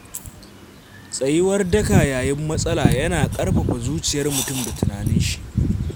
Tsayuwar daka yayin matsala yana ƙarfafa zuciyar mutum da tunaninshi.